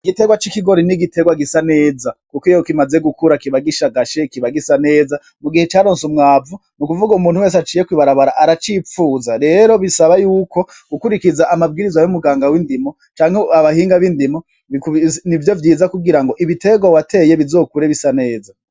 Igiterwa c'ikigori ni igiterwa gisa neza, kuko iyo kimaze gukura kiba gishagashe, kiba gisa neza, mugihe caronse umwavu. N'ukuvuga umuntu wese aciye kw'ibarabara aracipfuza. Rero bisaba y'uko ukurikiza amabwirizwa y'umuganga w'indimo canke abahinga b'indimo, nivyo vyiza kugira ngo ibiterwa wateye bizokure bisa neza.